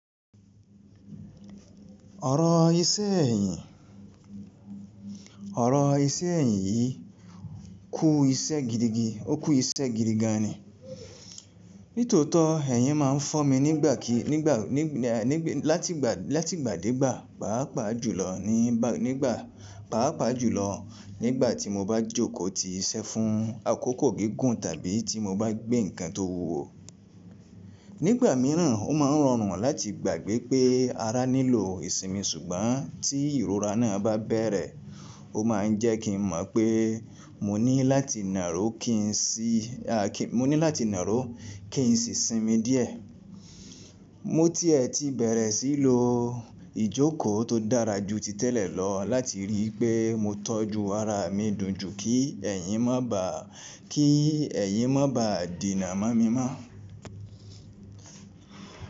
Ọ̀rọ̀ iṣẹ́ ẹ̀yìn ọ̀rọ̀ iṣẹ́ ẹ̀yìn yìí kú iṣẹ́ gidigi ó kú iṣẹ́ gidigan ni. Nítòótọ́, ẹ̀yìn ma ń fọ́ mi nígbàkí nígbà ní ní láti gbà láti ìgbà dé ìgbà, pàápàá jùlọ ní nígbà pàápàá jùlọ nígbà tí mo bá jókòó ti iṣẹ́ fún àkókò gigun tàbí tí mo bá gbé nǹkan tó wúwo. Nígbà míràn, ó ma ń rọrùn láti gbàgbé pé ara nílò ìsinmi ṣùgbọ́n tí ìrora náà bá bẹ̀rẹ̀, ó ma ń jẹ́ kí n mọ̀n pé mo ní láti nàró kí n sì a kí mo ní láti nàró kí n sì sinmi díẹ̀. Mo ti ẹ ti bẹ̀rẹ̀ sí í lo ìjókòó tó dára ju ti tẹ́lẹ̀ lọ láti rí i pé mo tọ́jú ara mi dùn ju kí ẹ̀yin má bàá kí ẹ̀yin má bàá dina mon mi mọ́n.